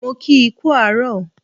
Mo kii kú àárọ̀